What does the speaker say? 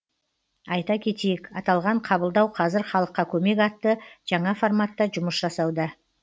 айта кетейік аталған қабылдау қазір халыққа көмек атты жаңа форматта жұмыс жасауда